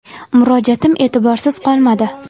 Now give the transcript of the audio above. Murojaatim e’tiborsiz qolmadi.